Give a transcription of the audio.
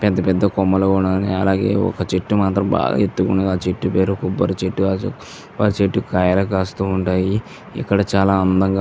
పెద్ధ పెద్ధ కొమ్మలు ఉన్నవి అలాగే ఒక చెట్టు మాత్రం బాగా ఎత్తు ఉన్నది . ఆ చెట్టు పేరు కొబ్బరి చెట్టు ఆ చెట్టుకి కాయలు కాస్తా ఉంటాయి ఇక్కడ చాలా అందంగా.